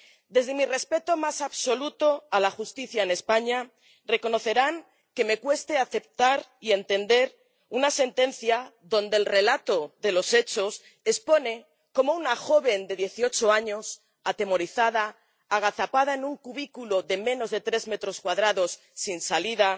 Desde mi respeto más absoluto a la justicia en España, reconocerán que me cueste aceptar y entender una sentencia en la que el relato de los hechos expone cómo una joven de dieciocho años, atemorizada, agazapada en un cubículo de menos de tres metros cuadrados, sin salida,